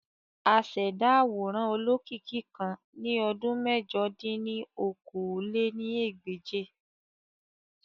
Àṣẹda aworan olokiki kan ni ọdun mẹ̀jọ dín ní okòó-lé-ní-ẹgbẹ́je.